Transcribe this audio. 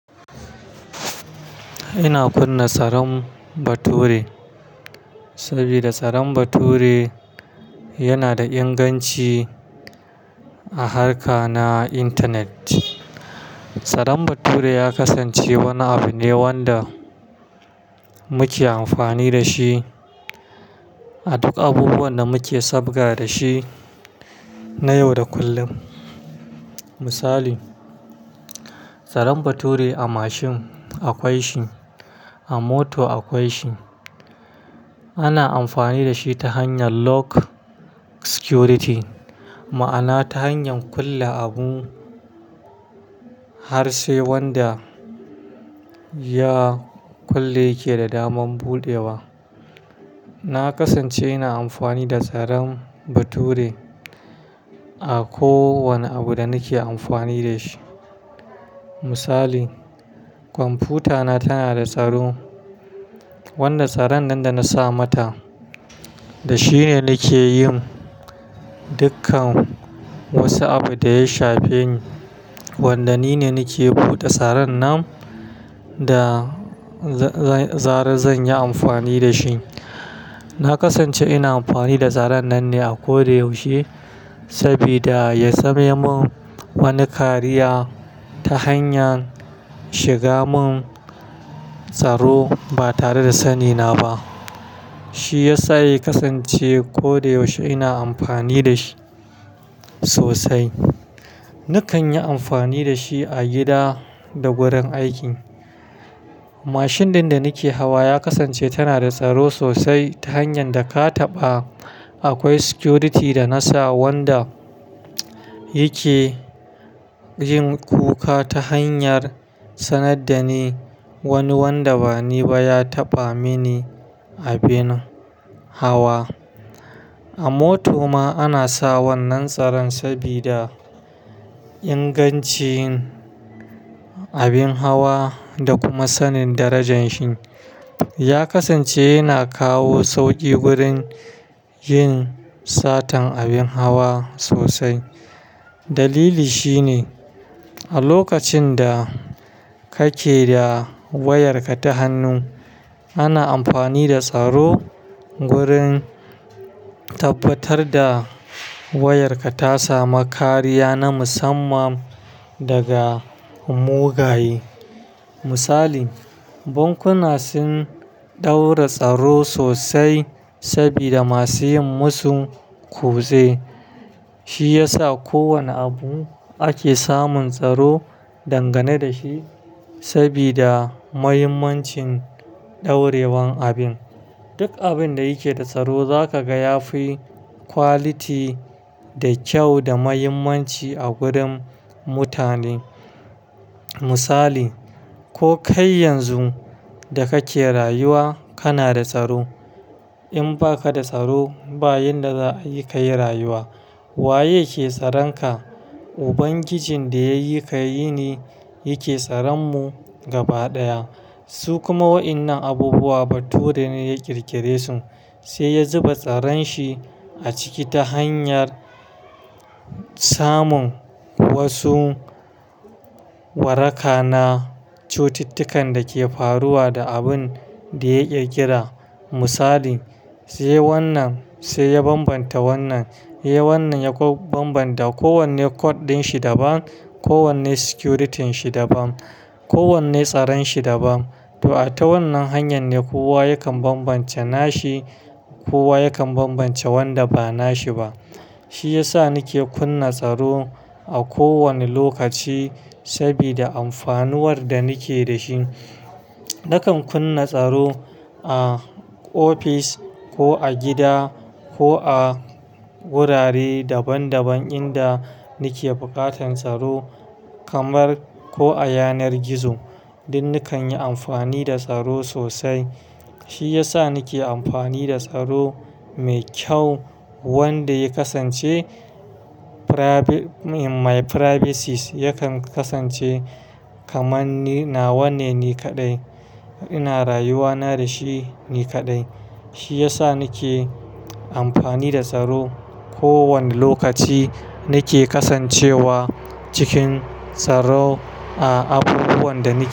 Ina kunna tsaron bature saboda tsaron bature yana da inganci a harka na internet. Tsaron bature ya kasance wani abu ne wanda muke amfani da shi a duk abubuwan da muke sabga da shi na yau da kullum. Misali, tsaron bature a mashin akwai shi, a moto akwai shi. Ana amfani da shi ta hanyar lock security, ma'ana ta hanyar kulle abu har sai wanda ya kulle yake da daman buɗewa. Na kasance ina amfani da tsaron bature a kowane abu da nake amfani da shi. Misali, kwamfuta na tana da tsaro, wanda tsaron nan da na sa mata da shine nake yin dukkan wasu abu da ya shafi wanda nine nake buɗe tsaron nan da zarar zan yi amfani da shi. Na kasance ina amfani da tsaron nan ne a kodayaushe sabida ya sanya mun wani kariya ta hanyar shiga mun tsaro ba tare da sani na ba. Shi ya sa ya kasance kodayaushe ina amfani da shi sosai. Nakan yi amfani da shi a gida da wurin aiki. Mashin ɗin da nake hawa ya kasance tana da tsaro sosai ta hanyar da ka taɓa. Akwai security da na sa wanda yake yin kuka ta hanyar sanar da ni wani wanda bani ba ya taɓa mini abin hawa. A moto ma ana sa wannan tsaron sabida ingancin abin hawa da kuma sanin darajan shi. Ya kasance yana kawo sauƙi wurin yin satan abin hawa sosai. Dalili shine a lokacin da kake da wayarka ta hannu, ana amfani da tsaro wurin tabbatar da wayarka ta sami kariya na musamman daga mugaye. Misali, bankuna sun ɗaura tsaro sosai sabida masu yin musun kutse. Shi ya sa ko wane abu ake samun tsaro dangane da shi sabida muhimmancin ɗaurewan abin. Duk abin da yake da tsaro za ka ga ya fi quality da kyau da mahimmanci a gurin mutane. Misali, ko kai yanzu da kake rayuwa kana da tsaro. In ba ka da tsaro, bayan da za a yi ka yi rayuwa. Waye ke tsaron ka? Ubangijin da ya yi ka yi ne yake tsaran mu gaba ɗaya. Su kuma waɗannan abubuwa bature ne ya ƙirƙire su, sai ya zuba tsaron shi a ciki ta hanyar samun wasu waraka na cututtukan da ke faruwa da abin da ya ƙirƙira. Misali, sai wannan, sai ya bambanta wannan, yayi wannan ya kuma bambanta. Ko wanne code din shi daban, kowanne security ɗin shi daban, kowanne tsaron shi daban. To a ta wannan hanyar ne kowa yakan bambance nashi, kowa yakan bambance wanda ba nashi ba. Shi ya sa nake kunna tsaro a kowane lokaci sabida amfanuwar da nake da shi. Nakan kunna tsaro a ofis ko a gida ko a wurare daban daban inda nake buƙatan tsaro kamar ko a yanar gizo. Don nikan yi amfani da tsaro sosai. Shi ya sa nake amfani da tsaro mai kyau wanda ya kasance my privacies yakan kasance kaman nawa ne ni kaɗai ina rayuwa na da shi ni kaɗai. Shi ya sa nake amfani da tsaro. Ko wane lokaci nake kasancewa cikin tsaro a abubuwan da nike.